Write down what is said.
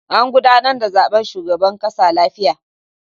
An gudanar da zaben shugaban ƙasa lafiya.